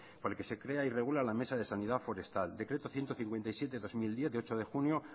por el que se crea y regula la mesa de sanidad forestal decreto ciento cincuenta y siete barra dos mil diez de ocho de junio